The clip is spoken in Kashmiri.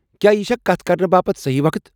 کیا یہ چھا کتھ کرنہٕ باپت صحیح وقت؟